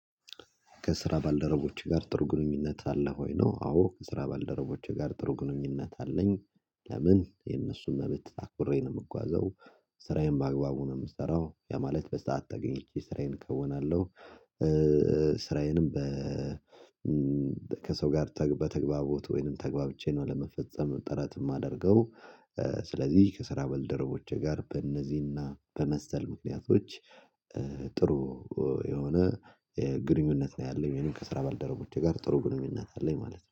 ከስራ ባልደረቦችህ ጋር ጥሩ ግንኙነት አለ ወይ ነው? አዎ ከስራ ባልደረቦቼ ጋር ጥሩ ግንኙነት አለኝ። ለምን የነሱን መብት አክብሬ ነው የምጓዘው። ስራዬን በአግባቡ ነው የምሰራው ያ ማለት በሰአት ተገኝቼ ስራዬን ከዉናለሁ ስራዬንም በ ከሰው ጋር በተግባቦት ወይንም ተግባብቼ ነው ለመፈጸም ጥረት የማደርገው። ስለዚህ ከስራ ባልደረቦቼ ጋር በእነዚህና በመሰል ምክንያቶች ጥሩ የሆነ ግንኙነት ነው ያለኝ ከስራ ባልደረቦቼ ጋር ጥሩ ግንኙነት አለኝ ማለት ነው